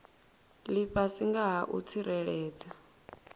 lifhasi nga ha u tsireledza